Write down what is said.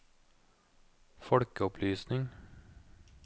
folkeopplysning